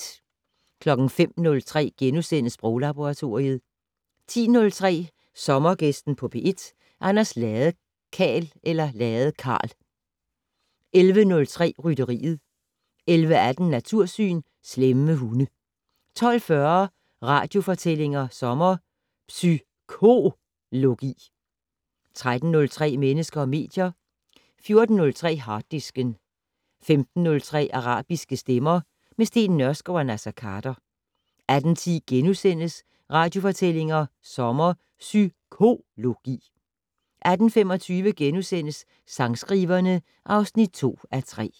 05:03: Sproglaboratoriet * 10:03: Sommergæsten på P1: Anders Ladekarl 11:03: Rytteriet 11:18: Natursyn: Slemme hunde 12:40: Radiofortællinger sommer: Psy-KO-logi 13:03: Mennesker og medier 14:03: Harddisken 15:03: Arabiske stemmer - med Steen Nørskov og Naser Khader 18:10: Radiofortællinger sommer: Psy-KO-logi * 18:25: Sangskriverne (2:3)*